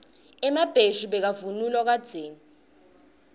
emabheshu bekavunulwa kadzeni